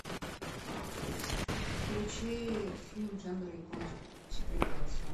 включи фильм жанра японская мультипликация